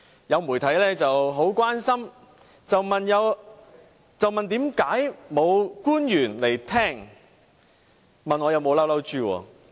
有媒體很關心地問道，為甚麼沒有官員出席聆聽，又問我有沒有生氣。